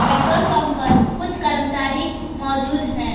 Petrol pump पर कुछ कर्मचारी मौजूद हैं।